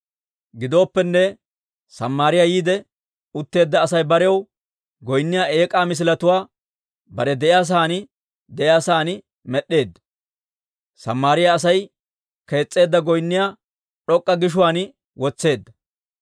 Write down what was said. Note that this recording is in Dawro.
Gidooppenne Samaariyaa yiide utteedda Asay barew goynniyaa eek'aa misiletuwaa bare de'iyaa sa'aan de'iyaa sa'aan med'd'eedda. Samaariyaa Asay kees's'eedda goynniyaa d'ok'k'a gishuwaan wotseedda.